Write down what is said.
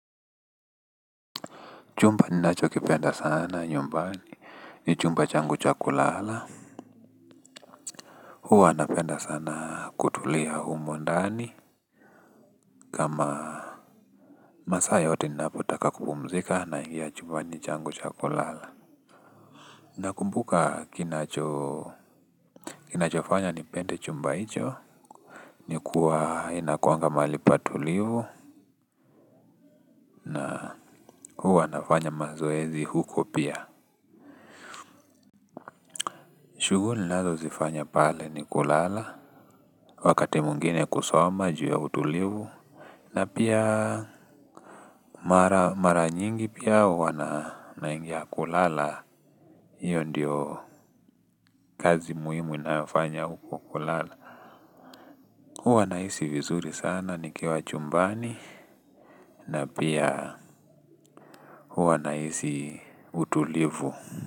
Chumba ninacho kipenda sana nyumbani ni chumba changu cha kulala huwa napenda sana kutulia humu ndani kama masaa yote ninapotaka kupumzika na hiyo chumbani changu cha kulala. Nakumbuka kinacho kina chofanya nipende chumba hicho. Ni kuwa inakuanga mahali patulivu na huwa anafanya mazoezi huko pia. Shughuli nazo zifanya pale ni kulala. Wakati mwingine kusoma juu ya utulivu na pia mara nyingi pia hiyo ndio kazi muhimu inayofanya huko kulala. Huwa nahisi vizuri sana nikiwa chumbani. Na pia huwa nahisi utulivu.